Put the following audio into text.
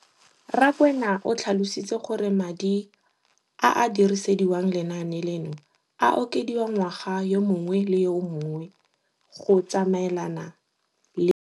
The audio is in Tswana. Rakwena o tlhalositse gore madi a a dirisediwang lenaane leno a okediwa ngwaga yo mongwe le yo mongwe go tsamaelana le.